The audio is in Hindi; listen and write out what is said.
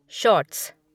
शॉर्ट्स